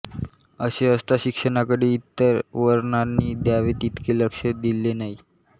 असे असता शिक्षणाकडे इतर वर्णांनी द्यावे तितके लक्ष दिले नाही